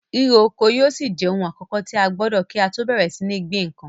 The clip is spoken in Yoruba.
Ríro oko yóò ṣì jẹ ohun àkọ́kọ̀ tí a gbọdọ̀ kí á tọ́ bẹ̀rẹ̀ sí ní gbin nǹkan.